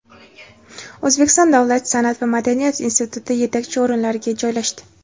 O‘zbekiston davlat san’at va madaniyat instituti yetakchi o‘rinlarga joylashdi.